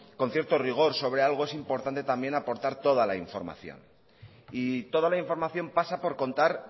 con cierto rigor sobre algo es importante también aportar toda la información y toda la información pasa por contar